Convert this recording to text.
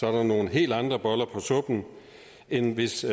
er der nogle helt andre boller på suppen end hvis